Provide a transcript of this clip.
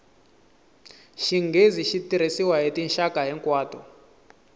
xinghezi xi tirhisiwa hi tinxaka hinkwato